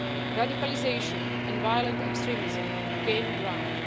Radicalisation and violent extremism gain ground.